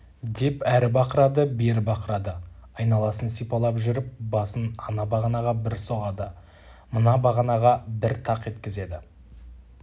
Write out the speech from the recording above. деп әрі бақырады бері бақырады айналасын сипалап жүріп басын ана бағанаға бір соғады мына бағанаға бір тақ еткізеді